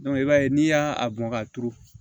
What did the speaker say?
i b'a ye n'i y'a bɔn k'a turu